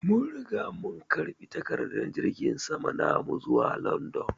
Mun Riga mun karba takadar jirgin sama namu zuwa London.